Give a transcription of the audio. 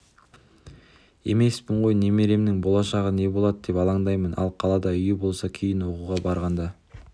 емеспін ғой немеремнің болашағы не болады деп алаңдаймын ал қалада үйі болса кейін оқуға барғанда